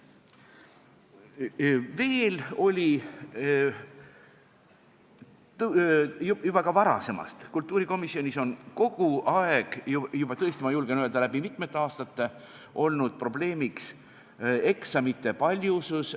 Veel oli – juba ka varasemast, kultuurikomisjonis on kogu aeg, ma julgen öelda, et läbi mitmete aastate olnud probleemiks eksamite paljusus.